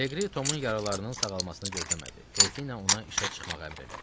Leqri Tomun yaralarının sağalmasını gözləmədi, tezliklə ona işə çıxmağa əmr elədi.